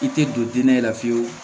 I tɛ don dinɛ la fiyewu